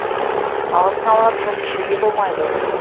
алдын ала тон пішуге болмайды